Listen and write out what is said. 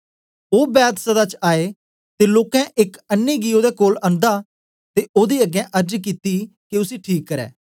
ओ Bethsaida च आए ते लोकें एक अन्नें गी ओदे कोल अनदा ते ओदे अगें अर्ज कित्ती के उसी ठीक करै